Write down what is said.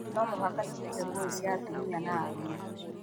No mũhaka tũtige ngũĩ cia atumia na arume.